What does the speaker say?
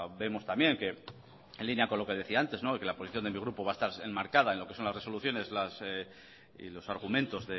vemos también que en línea con lo que decía antes de que la posición de mi grupo va a estar enmarcada en lo que son las resoluciones y los argumentos